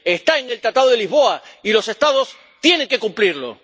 Está en el Tratado de Lisboa y los Estados tienen que cumplirlo.